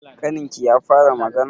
Ƙaninki ya fara magana?